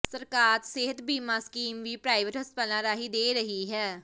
ਸਰਕਾਰ ਸਿਹਤ ਬੀਮਾ ਸਕੀਮ ਵੀ ਪ੍ਰਾਈਵੇਟ ਹਸਪਤਾਲਾਂ ਰਾਹੀਂ ਦੇ ਰਹੀ ਹੈ